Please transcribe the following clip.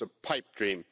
It's a pipe dream.